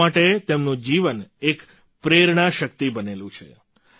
લોકો માટે તેમનું જીવન એક પ્રેરણા શક્તિ બનેલું છે